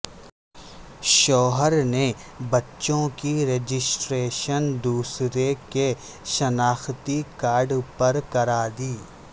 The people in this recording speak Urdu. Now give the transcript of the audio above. شوہر نے بچوں کی رجسٹریشن دوسرے کے شناختی کارڈ پر کرا د